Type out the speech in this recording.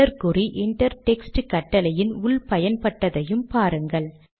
dollar குறி inter text கட்டளையின் உள் பயன்பட்டதையும் பாருங்கள்